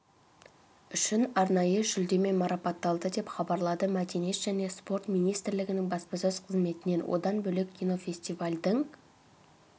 үшін арнайы жүлдемен марапатталды деп хабарлады мәдениет және спорт министрлігінің баспасөз қызметінен одан бөлек кинофестивальдің